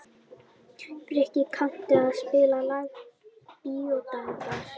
Frikki, kanntu að spila lagið „Bíódagar“?